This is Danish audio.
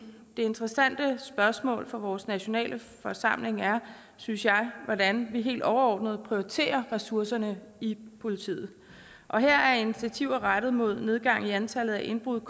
det interessante spørgsmål for vores nationalforsamling er synes jeg hvordan vi helt overordnet prioriterer ressourcerne i politiet her er initiativer rettet mod nedgang i antallet af indbrud